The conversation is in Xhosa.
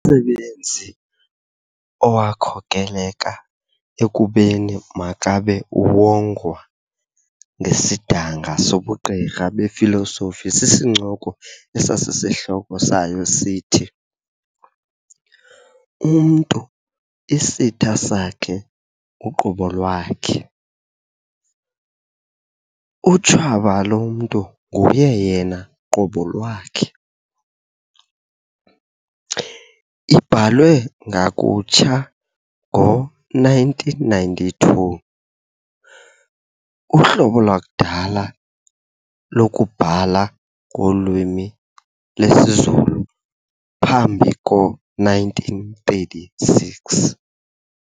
Umsebenzi owakhokeleka ekubeni makabe uwongwa ngesidanga sobugqirha befilosofi sisincoko esasisihloko sayo sithi"Umuntu Isita Sake Uqobo Lwake", "Utshaba lomntu nguye yena qobo lwakhe", ibhalwe ngakutsha ngo-1992, uhlobo lwakudala lokubhala ngolwimi lwesiZulu phambi ko-1936.